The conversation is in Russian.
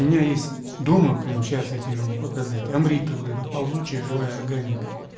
меня есть дома прямо сейчас я тебе могу показать амрита вот это ползучая живая органика